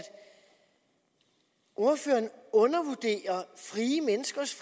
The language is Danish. ordføreren undervurderer frie menneskers